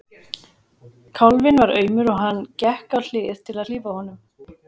Kálfinn var aumur og hann gekk á hlið til að hlífa honum.